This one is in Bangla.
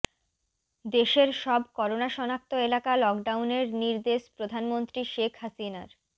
দেশের সব করোনা শনাক্ত এলাকা লকডাউনের নির্দেশ প্রধানমন্ত্রী শেখ হাসিনার